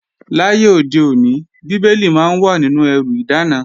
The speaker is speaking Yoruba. Láyé òde òní, Bíbélì máa ń wà nínú ẹrù ìdáná